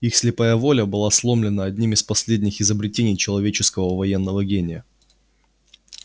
их слепая воля была сломлена одним из последних изобретений человеческого военного гения